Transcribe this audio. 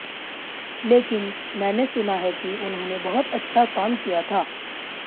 लेकिन मैंने सुना है कि उन्होंने बहुत अच्छा काम किया था